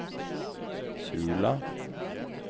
Sula